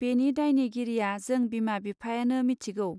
बेनि दायनि गिरिआ जों बिमा बिफायनों मिथिगौ.